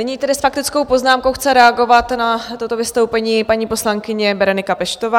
Nyní tedy s faktickou poznámkou chce reagovat na toto vystoupení paní poslankyně Berenika Peštová.